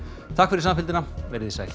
takk fyrir samfylgdina verið þið sæl